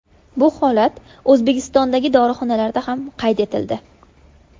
Bu holat O‘zbekistondagi dorixonalarda ham qayd etildi .